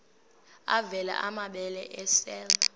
avela amabele esel